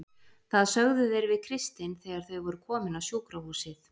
Það sögðu þeir við Kristin þegar þau voru komin á sjúkrahúsið.